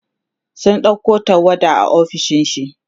sun ɗauko tawada a ofishin shi